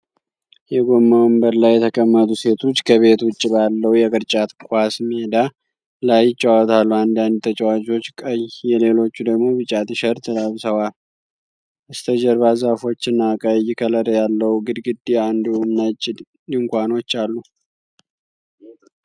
የጎማ ወንበር ላይ የተቀመጡ ሴቶች ከቤት ውጭ ባለው የቅርጫት ኳስ ሜዳ ላይ ይጫወታሉ። አንዳንድ ተጫዋቾች ቀይ የሌሎቹ ደግሞ ቢጫ ቲሸርት ለብሰዋል። በስተጀርባ ዛፎችና ቀይ ከለር ያለው ግድግዳ እንዲሁም ነጭ ድንኳኖች አሉ።